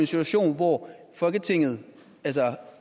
situation hvor folketinget